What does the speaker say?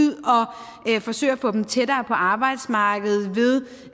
og forsøge at få dem tættere på arbejdsmarkedet ved